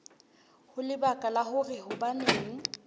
ho lebaka la hore hobaneng